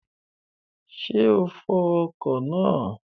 Ṣé o fọ ọkọ̀ náà?